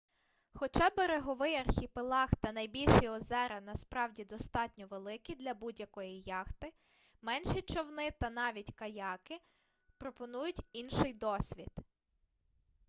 хоча береговий архіпелаг та найбільші озера насправді достатньо великі для будь-якої яхти менші човни та навіть каяки пропонують інший досвід